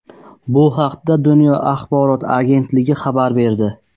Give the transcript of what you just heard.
Bu haqda "Dunyo" axborot agentligi xabar berdi.